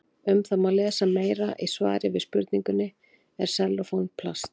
Um það má lesa meira í svari við spurningunni Er sellófan plast?